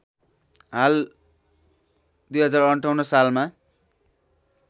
हाल ०५८ सालमा